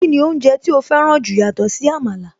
Kíni oúnjẹ tí ó fẹ́ràn jù yàtọ̀ sí Àmàlà?